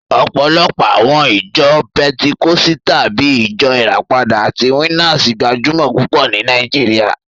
Ọ̀pọ̀lọpọ̀ àwọn ìjọ pẹtikọ́sítà bíi Ìjọ Ìràpadà àti Winners gbajúmọ̀ púpọ̀ ní Nàìjíríà